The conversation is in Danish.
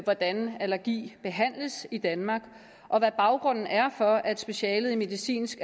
hvordan allergi behandles i danmark og hvad baggrunden er for at specialet i medicinsk